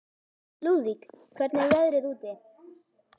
Lúðvík, hvernig er veðrið úti?